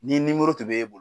Ni nimoro tun b'e bolo